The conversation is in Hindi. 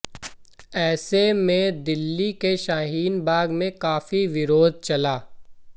ऐसे में दिल्ली के शाहिन बाग में काफी विरोध चला